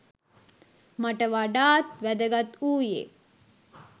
මට වඩාත් වැදගත් වූයේ